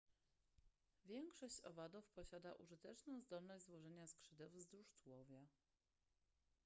większość owadów posiada użyteczną zdolność złożenia skrzydeł wzdłuż tułowia